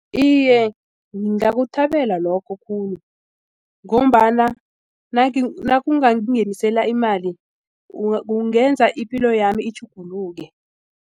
Iye, ngingakuthabela lokho khulu ngombana nakungangingenisela imali kungenza ipilo yami itjhuguluke.